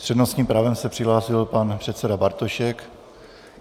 S přednostním právem se přihlásil pan předseda Bartošek.